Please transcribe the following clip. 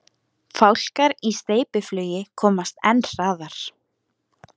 Fálkar í steypiflugi komast enn hraðar.